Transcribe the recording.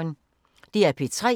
DR P3